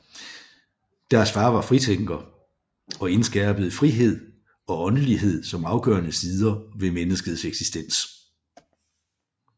Deres far var fritænker og indskærpede frihed og åndelighed som afgørende sider ved menneskets eksistens